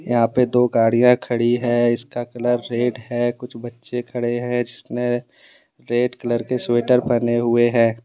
यहां पे दो गाड़ियां खड़ी है इसका कलर रेड है कुछ बच्चे खड़े हैं जिसने रेड कलर के स्वेटर पहने हुए हैं।